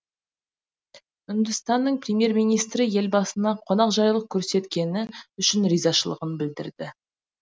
үндістанның премьер министрі елбасына қонақжайлық көрсеткені үшін ризашылығын білдірді